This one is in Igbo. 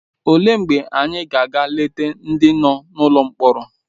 Olee mgbe anyị ga-aga eleta ndị nọ n’ụlọ mkpọrọ?